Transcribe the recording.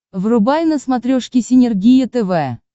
врубай на смотрешке синергия тв